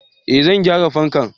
eh zan gyara fankan